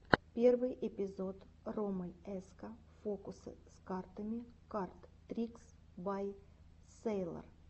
первый эпизод роммель эска фокусы с картами кард трикс бай сэйлор